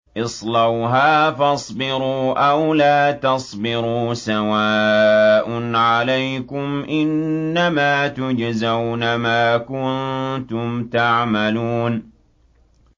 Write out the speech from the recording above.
اصْلَوْهَا فَاصْبِرُوا أَوْ لَا تَصْبِرُوا سَوَاءٌ عَلَيْكُمْ ۖ إِنَّمَا تُجْزَوْنَ مَا كُنتُمْ تَعْمَلُونَ